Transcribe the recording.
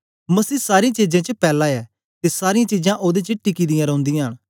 मसीह सारी चीजें च पैला ऐ ते सारीयां चीजां ओदे च टिकी दियां रौंदियां न